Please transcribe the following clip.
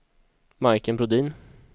Majken Brodin